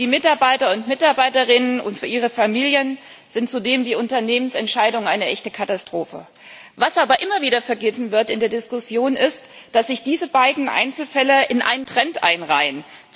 Für die Mitarbeiter und Mitarbeiterinnen und ihre Familien sind zudem die Unternehmensentscheidungen eine echte Katastrophe. Was in der Diskussion aber immer wieder vergessen wird, ist, dass sich diese beiden Einzelfälle in einen Trend einreihen.